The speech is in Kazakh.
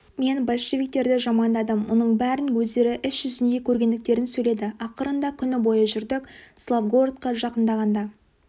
мен большевиктерді жамандадым мұның бәрін өздері іс жүзінде көргендіктерін сөйледі ақырында күні бойы жүрдік славгородқа жақындағанда